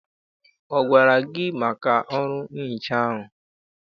Ọ gwara gị maka ọrụ nhicha ahụ?